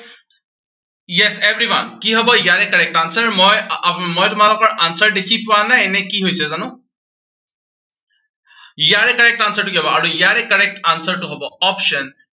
yes, everyone কি হব ইয়াৰে correct answer মই আহ মই তোমালোকৰ answer দেখি পোৱা নাই, নে কি হৈছে জানো ইয়াৰে correct answer টো কি হব। ইয়াৰে correct answer টো হব option